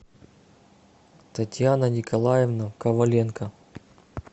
татьяна николаевна коваленко